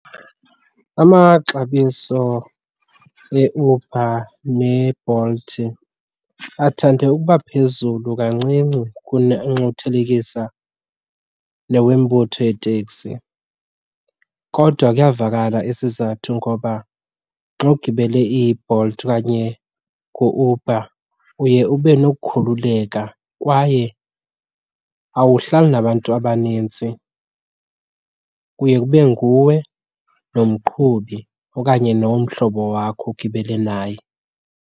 Amaxabiso eUber neBolt athande ukuba phezulu kancinci kuna nxa uthelekisa nombutho weetekisi kodwa kuyavakala isizathu. Ngoba xa ugibele iBolt okanye u-Uber uye ube nokukhululeka kwaye awuhlali nabantu abanintsi, kuye kube nguwe nomqhubi okanye nomhlobo wakho ogibele naye.